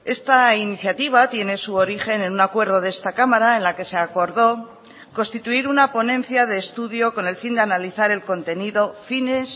esta iniciativa tiene su origen en un acuerdo de esta cámara en la que se acordó constituir una ponencia de estudio con el fin de analizar el contenido fines